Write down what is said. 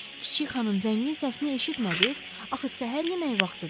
Kiçik xanım zəngin səsini eşitmədiz? Axı səhər yeməyi vaxtıdır.